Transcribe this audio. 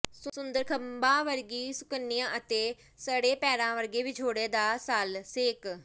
ਸੁੰਦਰ ਖੰਭਾਂ ਵਰਗੀ ਸੁਕੰਨਿਆ ਅਤੇ ਸੜੇ ਪੈਰਾਂ ਵਰਗਾ ਵਿਛੋੜੇ ਦਾ ਸੱਲ ਸੇਕ